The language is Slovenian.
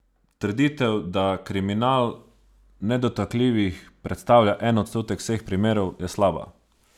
Trditev, da kriminal nedotakljivih predstavlja en odstotek vseh primerov, je slaba!